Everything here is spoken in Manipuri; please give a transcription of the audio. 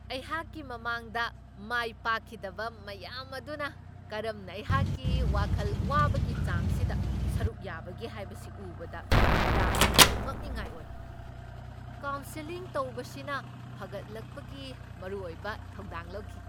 ꯑꯩꯍꯥꯛꯀꯤ ꯃꯃꯥꯡꯗ ꯃꯥꯏ ꯄꯥꯛꯈꯤꯗꯕ ꯃꯌꯥꯝ ꯑꯗꯨꯅ ꯀꯔꯝꯅ ꯑꯩꯍꯥꯛꯀꯤ ꯋꯥꯈꯜ ꯋꯥꯕꯒꯤ ꯆꯥꯡꯁꯤꯗ ꯁꯔꯨꯛ ꯌꯥꯕꯒꯦ ꯍꯥꯏꯕꯁꯤ ꯎꯕꯗ ꯌꯥꯝꯅ ꯉꯛꯅꯤꯡꯉꯥꯏ ꯑꯣꯏ ꯫ ꯀꯥꯎꯟꯁꯦꯂꯤꯡ ꯇꯧꯕꯁꯤꯅ ꯐꯒꯠꯂꯛꯄꯒꯤ ꯃꯔꯨ ꯑꯣꯏꯕ ꯊꯧꯗꯥꯡ ꯂꯧꯈꯤ ꯫